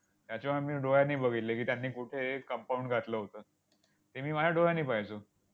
त्याच्यामुळे मी डोळ्यांनी बघितले की, त्यांनी कुठे compound घातलं होतं. हे मी माझ्या डोळ्यांनी पाहिलं.